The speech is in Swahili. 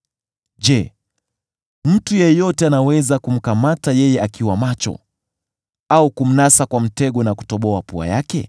Je, mtu yeyote anaweza kumkamata yeye akiwa macho, au kumnasa kwa mtego na kutoboa pua yake?